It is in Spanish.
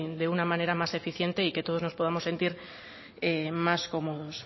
de una manera más eficiente y que todos nos podamos sentir más cómodos